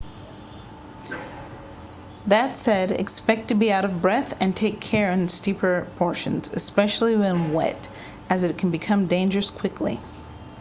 that said expect to be out of breath and take care in the steeper portions especially when wet as it can become dangerous quickly